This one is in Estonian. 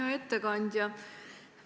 Hea ettekandja!